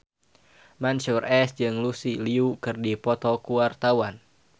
Mansyur S jeung Lucy Liu keur dipoto ku wartawan